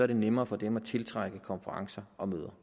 det nemmere for dem at tiltrække konferencer og møder